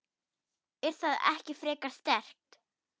Er það ekki frekar sterkt?